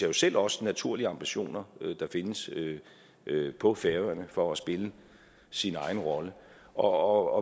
jo selv også naturlige ambitioner der findes på færøerne for at spille sin egen rolle og